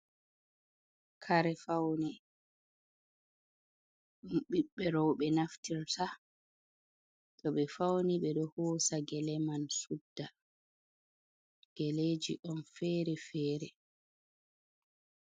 Kare fauni ɗum ɓiɓɓe roɓe naftirta to ɓe fauni ɓe ɗo hosa gele man sudda geleji on fere-fere.